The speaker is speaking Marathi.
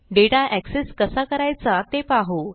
डेटा एक्सेस कसा करायचा ते पाहू